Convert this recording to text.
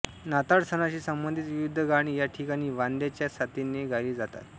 नाताळ सणाशी संबंधित विविध गाणी या ठिकाणी वाद्यांच्या साथीने गायली जातात